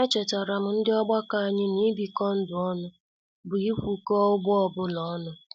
Echetaram ndị ọgbakọ anyị n'ibiko ndụ ọnụ bụ ikwuko ụgbọ ọbụla ọnụ